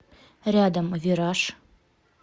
рядом вираж